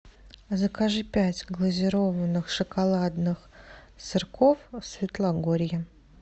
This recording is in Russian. закажи пять глазированных шоколадных сырков светлогорье